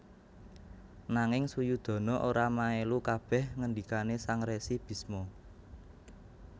Nanging Suyudana ora maelu kabeh ngendhikane Sang Resi Bisma